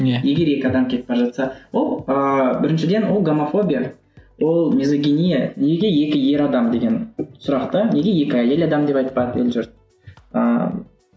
иә егер екі адам кетіп бара жатса ол ыыы біріншіден ол гомофобия ол лизогения неге екі ер адам деген сұрақ та неге екі әйел адам деп айтпады ел жұрт ыыы